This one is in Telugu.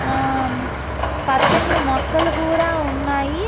ఆ ఆ పచ్చని మొక్కలు కూడా ఉన్నాయి.